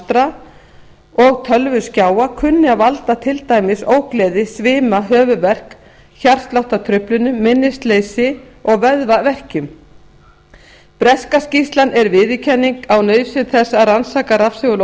háspennumastra og tölvuskjáa kunni að valda til dæmis ógleði svima höfuðverk hjartsláttartruflunum minnisleysi og vöðvaverkjum breska skýrslan er viðurkenning á nauðsyn þess að rannsaka